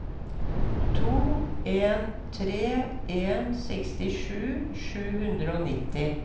to en tre en sekstisju sju hundre og nitti